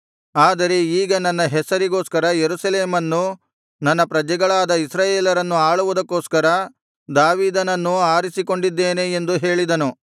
ಆದರೆ ಈಗ ನನ್ನ ಹೆಸರಿಗೋಸ್ಕರ ಯೆರೂಸಲೇಮನ್ನೂ ನನ್ನ ಪ್ರಜೆಗಳಾದ ಇಸ್ರಾಯೇಲರನ್ನು ಆಳುವುದಕ್ಕೋಸ್ಕರ ದಾವೀದನನ್ನೂ ಆರಿಸಿಕೊಂಡಿದ್ದೇನೆ ಎಂದು ಹೇಳಿದನು